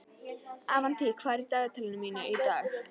Avantí, hvað er í dagatalinu mínu í dag?